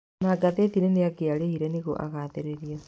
Ona ngathĩtinĩ nĩangĩarĩhire nĩguo agathĩrĩrio